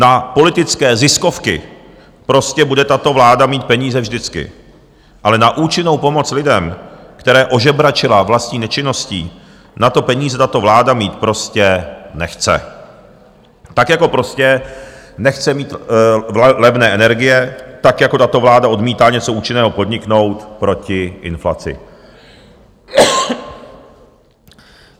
Na politické ziskovky prostě bude tato vláda mít peníze vždycky, ale na účinnou pomoc lidem, které ožebračila vlastní nečinností, na to peníze tato vláda mít prostě nechce, tak jako prostě nechce mít levné energie, tak jako tato vláda odmítá něco účinného podniknout proti inflaci.